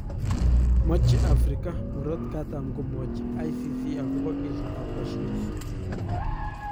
Mache Afrika murat katam komwochi ICC akopa kesitap Bashir